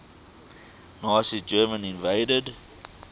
nazi germany invaded